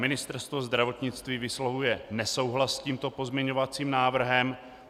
Ministerstvo zdravotnictví vyslovuje nesouhlas s tímto pozměňovacím návrhem.